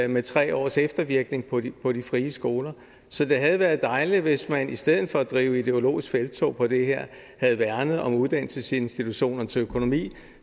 med tre års eftervirkning på de på de frie skoler så det havde været dejligt hvis man i stedet for at drive ideologisk felttog på det her havde værnet om uddannelsesinstitutionernes økonomi